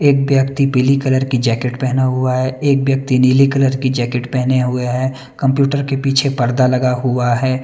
एक व्यक्ति पीली कलर की जैकेट पहना हुआ है एक व्यक्ति नीली कलर की जैकेट पहने हुए हैं कंप्यूटर के पीछे पर्दा लगा हुआ है --